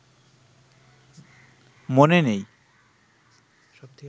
মনে নেই